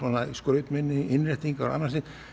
skrautmuni innréttingar og annað slíkt